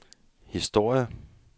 historie